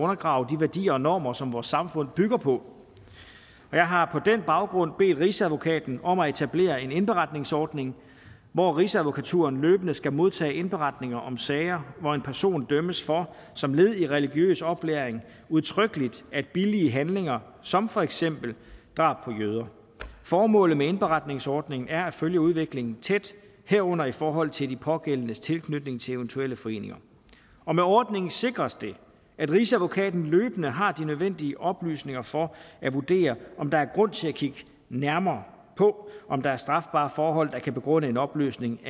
at undergrave de værdier og normer som vores samfund bygger på og jeg har på den baggrund bedt rigsadvokaten om at etablere en indberetningsordning hvor rigsadvokaturen løbende skal modtage indberetninger om sager hvor en person dømmes for som led i religiøs oplæring udtrykkelig at billige handlinger som for eksempel drab på jøder formålet med indberetningsordningen er at følge udviklingen tæt herunder i forhold til de pågældendes tilknytning til eventuelle foreninger og med ordningen sikres det at rigsadvokaten løbende har de nødvendige oplysninger for at vurdere om der er grund til at kigge nærmere på om der er strafbare forhold der kan begrunde en opløsning